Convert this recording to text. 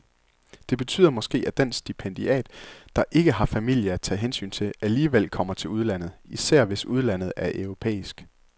Det betyder måske, at den stipendiat, der ikke har familie at tage hensyn til, alligevel kommer til udlandet, især hvis udlandet er europæisk.